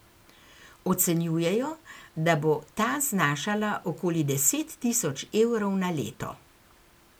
Ocenjujejo, da bo ta znašala okoli deset tisoč evrov na leto.